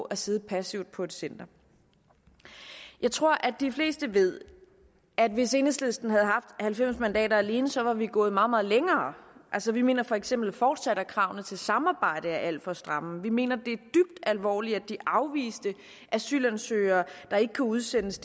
at sidde passivt på et center jeg tror at de fleste ved at hvis enhedslisten havde haft halvfems mandater alene så var vi gået meget meget længere vi mener for eksempel fortsat at kravene til samarbejde er alt for stramme vi mener at alvorligt at de afviste asylansøgere der ikke kan udsendes